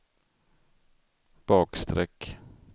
bakstreck